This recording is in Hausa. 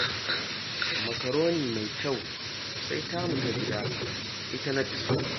Makaroni mai kyau, sai tamu ta gida, ita na fi so